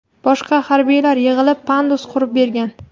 Boshqa harbiylar yig‘ilib, pandus qurib bergan.